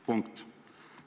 Punkt.